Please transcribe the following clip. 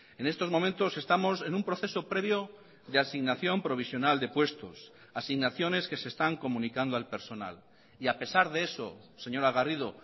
en estos momentos estamos en un proceso previo de asignación provisional de puestos asignaciones que se están comunicando al personal y a pesar de eso señora garrido